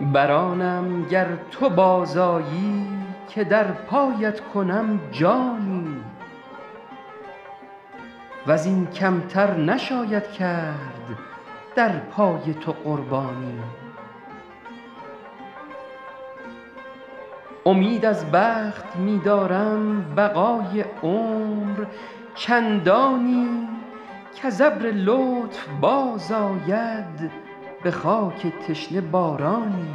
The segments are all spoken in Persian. بر آنم گر تو باز آیی که در پایت کنم جانی و زین کم تر نشاید کرد در پای تو قربانی امید از بخت می دارم بقای عمر چندانی کز ابر لطف باز آید به خاک تشنه بارانی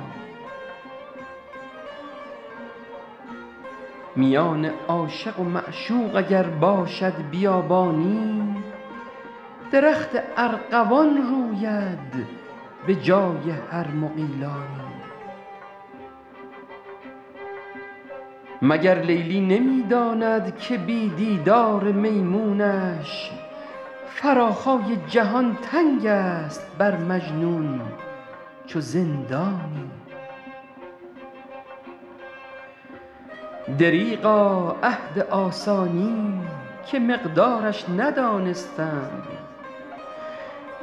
میان عاشق و معشوق اگر باشد بیابانی درخت ارغوان روید به جای هر مغیلانی مگر لیلی نمی داند که بی دیدار میمونش فراخای جهان تنگ است بر مجنون چو زندانی دریغا عهد آسانی که مقدارش ندانستم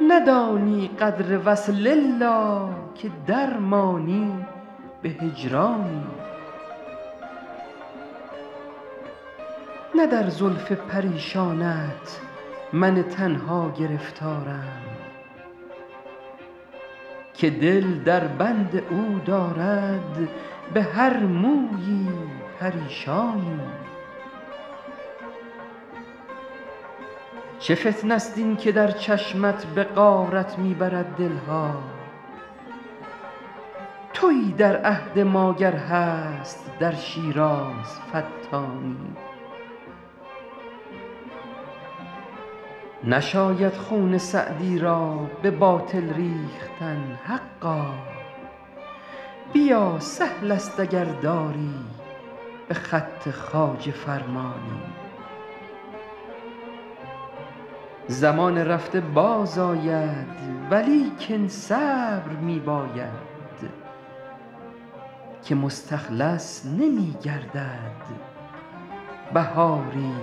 ندانی قدر وصل الا که در مانی به هجرانی نه در زلف پریشانت من تنها گرفتارم که دل در بند او دارد به هر مویی پریشانی چه فتنه ست این که در چشمت به غارت می برد دل ها تویی در عهد ما گر هست در شیراز فتانی نشاید خون سعدی را به باطل ریختن حقا بیا سهل است اگر داری به خط خواجه فرمانی زمان رفته باز آید ولیکن صبر می باید که مستخلص نمی گردد بهاری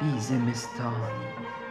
بی زمستانی